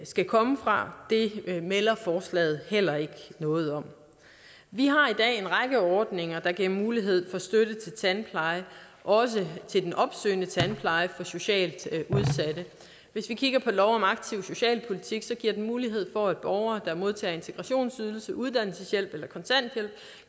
skal komme fra melder forslaget heller ikke noget om vi har i dag en række ordninger der giver mulighed for støtte til tandpleje også til den opsøgende tandpleje for socialt udsatte hvis vi kigger på lov om aktiv socialpolitik ser giver mulighed for at borgere der modtager integrationsydelse uddannelseshjælp eller kontanthjælp